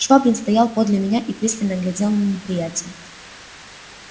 швабрин стоял подле меня и пристально глядел на неприятеля